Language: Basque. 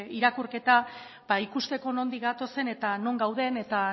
irakurketa ikusteko nondik gatozen eta non gauden eta